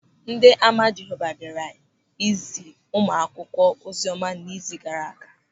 Ndị Ama Jehova bịara izi ụmụakwụkwọ oziọma n'izu gaara aga.